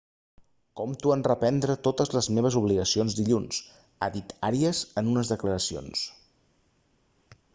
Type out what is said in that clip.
compto en reprendre totes les meves obligacions dilluns ha dit arias en unes declaracions